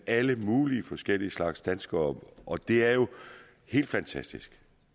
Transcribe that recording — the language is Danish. alle mulige forskellige slags danskere og det er jo helt fantastisk